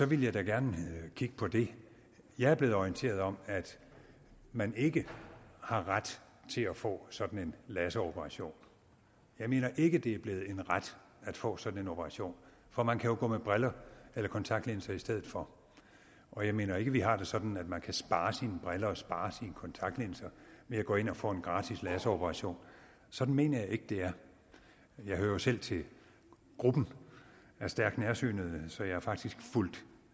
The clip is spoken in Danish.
ville jeg da gerne kigge på det jeg er blevet orienteret om at man ikke har ret til at få sådan en laseroperation jeg mener ikke det er blevet en ret at få sådan en operation for man kan jo gå med briller eller kontaktlinser i stedet for og jeg mener ikke at vi har det sådan at man kan spare sine briller og spare sine kontaktlinser ved at gå ind og få en gratis laseroperation sådan mener jeg ikke det er jeg hører jo selv til gruppen af stærkt nærsynede så jeg har faktisk fulgt